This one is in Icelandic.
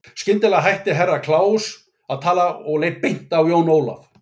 Skyndilega hætti Herra Kláus að tala og leit beint á Jón Ólaf.